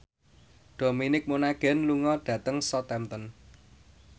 Dominic Monaghan lunga dhateng Southampton